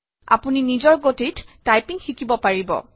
আপুনি নিজৰ গতিত টাইপিং শিকিব পাৰিব